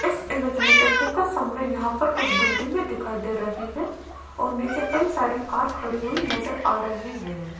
इस इमेज में देखिएगा सामने यहां पर कुछ बिल्डिंगे में दिखाई दे रही हैं और नीचे कई सारी कार खड़ी हुई नजर आ रही हैं।